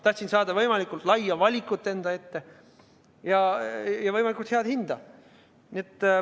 Tahtsin saada võimalikult laia valikut ja võimalikult head hinda.